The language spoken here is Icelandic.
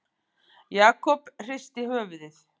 Jakob hristi höfuðið.